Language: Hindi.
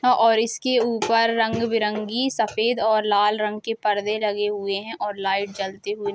और इसके ऊपर रंग-बिरंगे सफेद और लाल रंग के पर्दे लगे हुए हैं और लाइट जलती हुई --